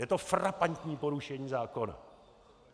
Je to frapantní porušení zákona.